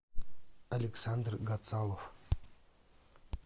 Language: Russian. александр гацалов